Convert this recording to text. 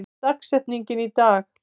, hver er dagsetningin í dag?